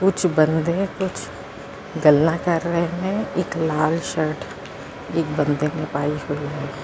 ਕੁਛ ਬੰਦੇ ਕੁਛ ਗੱਲਾਂ ਕਰ ਰਹੇ ਨੇ ਇਕ ਲਾਲ ਸ਼ਰਟ ਇਕ ਬੰਦੇ ਨੇ ਪਾਈ ਹੋਈ ਹੈ।